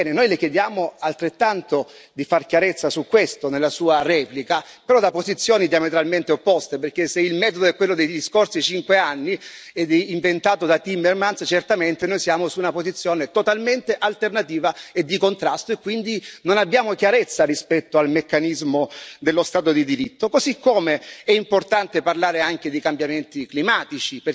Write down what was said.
Ebbene, noi Le chiediamo altrettanto di far chiarezza su questo, nella sua replica, però da posizioni diametralmente opposte, perché se il metodo è quello degli scorsi cinque anni, inventato da Timmermans, certamente noi siamo su una posizione totalmente alternativa e di contrasto e quindi non abbiamo chiarezza rispetto al meccanismo dello Stato di diritto, così come è importante parlare anche dei cambiamenti climatici.